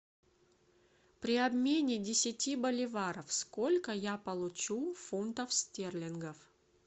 при обмене десяти боливаров сколько я получу фунтов стерлингов